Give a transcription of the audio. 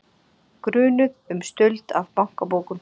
Grunuð um stuld af bankabókum